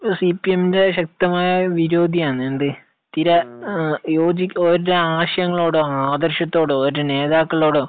സിപിഎമ്മിന്റെ ശക്തമായ വിരോധി ആണ്. എന്ത്, തീരെ യോജി, അവരുടെ ആശയങ്ങളോടോ, ആദർശങ്ങളോടോ ഓരുടെ നേതാക്കളോടൊ